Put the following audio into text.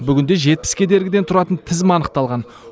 бүгінде жетпіс кедергіден тұратын тізім анықталған